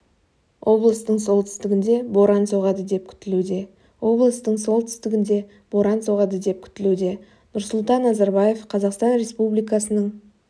облыстың солтүстігінде боран соғады деп күтілуде облыстың солтүстігінде боран соғады деп күтілуде нұрсұлтан назарбаев қазақстан республикасының